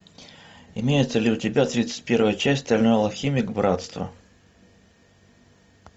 имеется ли у тебя тридцать первая часть стальной алхимик братство